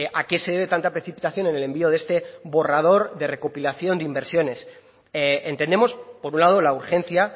a qué se debe tanta precipitación en el envío de este borrador de recopilación de inversiones entendemos por un lado la urgencia